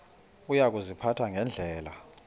uya kuziphatha ngendlela